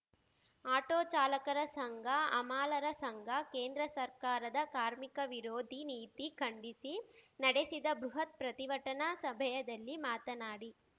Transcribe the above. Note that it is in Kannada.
ಆಟೋ ಚಾಲಕರ ಸಂಘ ಹಮಾಲರ ಸಂಘ ಕೇಂದ್ರ ಸರ್ಕಾರದ ಕಾರ್ಮಿಕ ವಿರೋಧಿ ನೀತಿ ಖಂಡಿಸಿ ನಡೆಸಿದ ಬೃಹತ್‌ ಪ್ರತಿಭಟನಾ ಸಭೆಯದಲ್ಲಿ ಮಾತನಾಡಿ